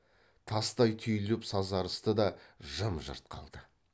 тастай түйіліп сазарысты да жым жырт қалды